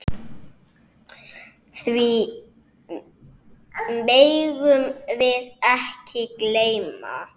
Því megum við ekki gleyma.